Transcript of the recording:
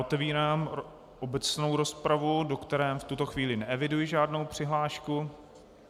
Otevírám obecnou rozpravu, do které v tuto chvíli neeviduji žádnou přihlášku.